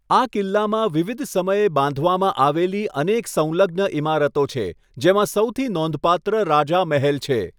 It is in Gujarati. આ કિલ્લામાં વિવિધ સમયે બાંધવામાં આવેલી અનેક સંલગ્ન ઈમારતો છે, જેમાં સૌથી નોંધપાત્ર રાજા મહેલ છે.